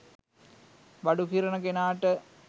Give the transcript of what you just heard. බඩු කිරන කෙනාට